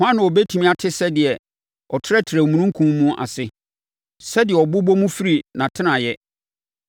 Hwan na ɔbɛtumi ate sɛdeɛ ɔtrɛtrɛ omununkum mu ase, sɛdeɛ ɔbobɔ mu firi nʼatenaeɛ?